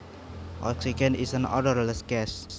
Oxygen is an odorless gas